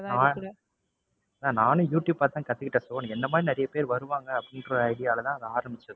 நானும் யூடுயூப் பாத்துதான் கத்துக்கிட்டேன். so என்னை மாதிரி நிறைய பேர் வருவாங்க அப்படின்ற idea ல தான் அதை ஆரம்பிச்சது.